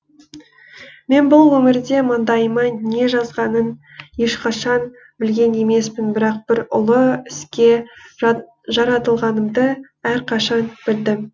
мен бұл өмірде маңдайыма не жазғанын ешқашан білген емеспін бірақ бір ұлы іске жаратылғанымды әрқашан білдім